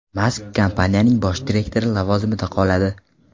Mask kompaniyaning bosh direktori lavozimida qoladi.